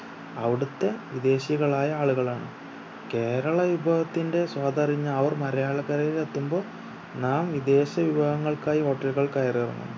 അവിടുത്തെ വിദേശികളായ ആളുകളാണ് കേരള വിഭവത്തിന്റെ സ്വാദറിഞ്ഞ അവർ മലയാളക്കരയിൽ എത്തുമ്പോ നാം വിദേശ വിഭവങ്ങൾക്കായി hotel കൾ കയറി ഇറങ്ങുന്നു